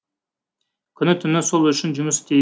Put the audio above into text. күні түні сол үшін жұмыс істе